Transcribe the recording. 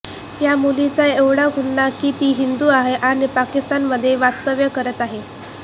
या मुलीचा एवढाच गुन्हा की ती हिंदू आहे आणि पाकिस्तानमध्ये वास्तव्य करत आहे